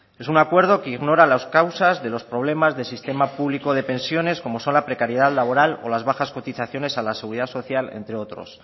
es una acuerdo que ignora las causas de los problemas de sistema público de pensiones como son la precariedad laboral o las bajas cotizaciones a la seguridad social entre otros